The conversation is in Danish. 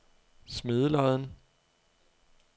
Smedelodden